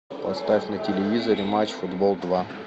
поставь на телевизоре матч футбол два